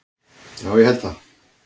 Ég held að það